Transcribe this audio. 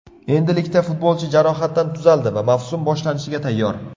Endilikda futbolchi jarohatdan tuzaldi va mavsum boshlanishiga tayyor.